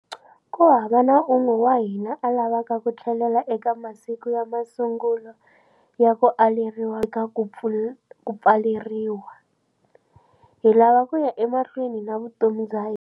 Kuhava na un'we wa hina a lavaka ku tlhelela eka masiku ya masungulo ya ku aleriwa lokukulu eka ku pfaleriwa. Hi lava kuya emahlweni na vutomi bya hina.